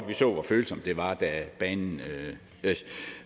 vi så hvor følsomt det var da banen